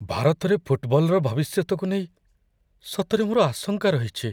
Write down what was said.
ଭାରତରେ ଫୁଟବଲର ଭବିଷ୍ୟତକୁ ନେଇ ସତରେ ମୋର ଆଶଙ୍କା ରହିଛି।